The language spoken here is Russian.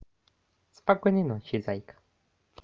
спокойной ночи зайка